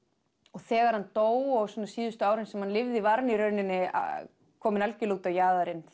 og þegar hann dó og svona síðustu árin sem hann lifði var hann í rauninni kominn algjörlega út á jaðarinn